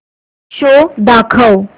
show दाखव